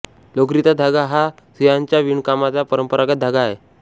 लोकरीचा धागा हा सुयांच्या विणकामाचा परंपरागत धागा आहे